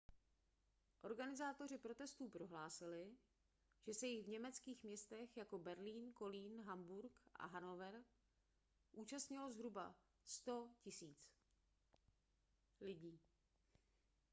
organizátoři protestů prohlásili že se jich v německých městech jako berlín kolín hamburg a hanover účastnilo zhruba 100 000 lidí